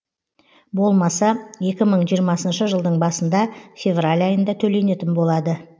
болмаса екі мың жиырмасыншы жылдың басында февраль айында төленетін болады